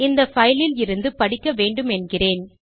இந்த பைல் லில் இருந்து படிக்க வேண்டுமென்கிறேன்